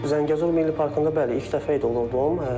Zəngəzur Milli Parkında bəli, ilk dəfə idi oldu.